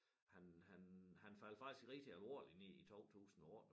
Han han han faldt faktisk rigtig alvorligt ned i 2008